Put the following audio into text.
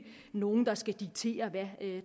nogen der skal diktere hvad